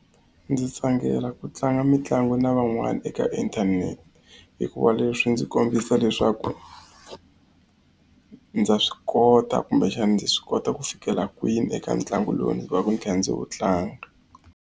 Ndzi tsakela ku tlanga mitlangu na van'wana eka inthanete hikuva leswi ndzi kombisa leswaku ndza swi kota kumbexani ndzi swi kota ku fikela kwini eka ntlangu lowu ndzi vaku ndzi kha ndzi wu tlanga.